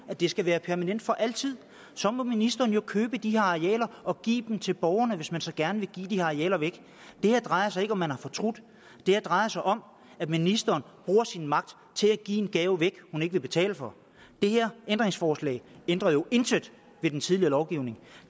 at det skal være permanent for altid så må ministeren jo købe de her arealer og give dem til borgerne hvis man så gerne vil give de her arealer væk det her drejer sig ikke om hvorvidt man har fortrudt det her drejer sig om at ministeren bruger sin magt til at give en gave hun ikke vil betale for det her ændringsforslag ændrer jo intet ved den tidligere lovgivning